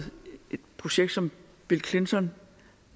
et projekt som bill clinton